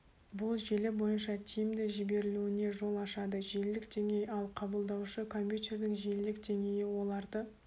бұл желі бойынша тиімді жіберілуіне жол ашады желілік деңгей ал қабылдаушы компьютердің желілік деңгейі оларды